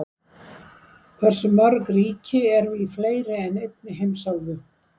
hversu mörg ríki eru í fleiri en einni heimsálfu